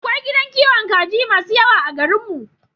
Akwai gidan kiwon kaji masu yawa a garin mu